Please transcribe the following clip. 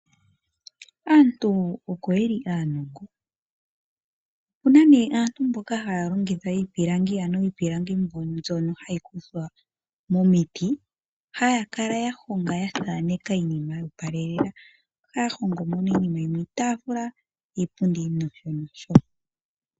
Aantu oko ye li aanongo, opuna nee aantu mboka haya longitha iipilangi, ano iipilangi mbyono ha yi kuthwa momiti. Haya kala ya honga ya thaaneka iinima yoopalela. Ohaya hongo mo nee iinima yimwe iitaafula, iipundi, nosho nosho.